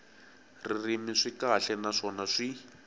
ririmi swi kahle naswona swi